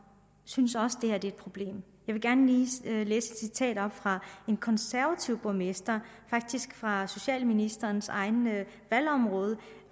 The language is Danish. synes også det her er et problem jeg vil gerne lige læse et citat op fra en konservativ borgmester faktisk fra socialministerens eget område